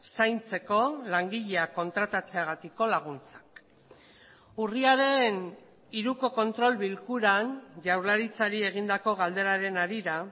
zaintzeko langileak kontratatzeagatiko laguntzak urriaren hiruko kontrol bilkuran jaurlaritzari egindako galderaren harira